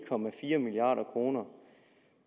milliard kroner